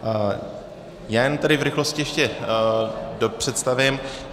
Já jen tedy v rychlosti ještě dopředstavím.